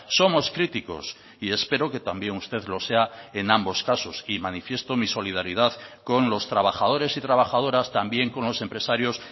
somos críticos y espero que también usted lo sea en ambos casos y manifiesto mi solidaridad con los trabajadores y trabajadoras también con los empresarios